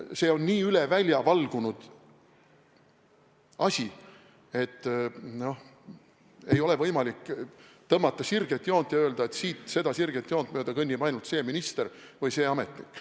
See on nii üle välja valgunud asi, et ei ole võimalik tõmmata sirget joont ja öelda, et siit, seda sirget joont mööda kõnnib ainult see minister või see ametnik.